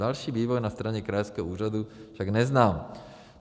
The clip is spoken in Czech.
Další vývoj na straně krajského úřadu však neznám.